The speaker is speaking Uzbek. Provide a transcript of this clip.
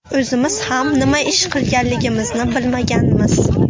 O‘zimiz ham nima ish qilganligimizni bilmaganmiz.